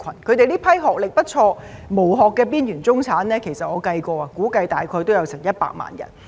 這些學歷不錯、"無殼"的邊緣中產，我估計大約也有100萬人。